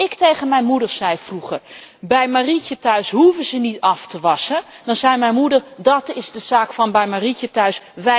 Als ik tegen mijn moeder vroeger zei bij Marietje thuis hoeven ze niet af te wassen, dan zei mijn moeder dat is een zaak van bij Marietje thuis.